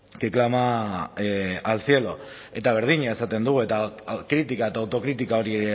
que clama al cielo eta berdina esaten dugu eta kritika eta autokritika hori